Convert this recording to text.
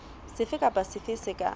sefe kapa sefe se ka